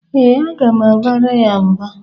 Ee, aga m abara ya mba.